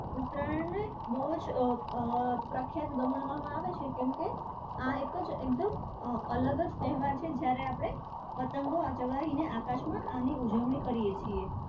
ઉત્તરાયણ ને બહુ જ અર પ્રખ્યાત ગણવામાં આવે છે કેમકે આ એક જ એકદમ અર અલગ તહેવાર છે જયારે આપણે પતંગો અટવાઈને આકાશમાં આની ઉજવણી કરીએ છીએ.